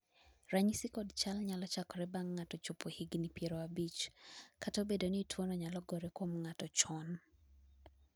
ranyisi kod chal nyalo chakore bang' ng'ato chopo higni piero abich ,kata obedo ni tuono nyalo gore kuom ng'ato chon